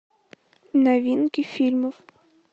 новинки фильмов